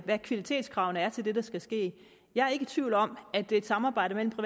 hvad kvalitetskravene er til det der skal ske jeg er ikke i tvivl om at et samarbejde mellem det